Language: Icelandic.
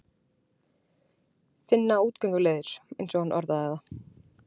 Finna útgönguleiðir, eins og hann orðar það.